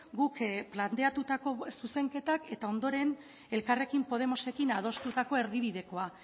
guk planteatutako zuzenketak eta ondoren elkarrekin podemosekin adostutako erdibidekoa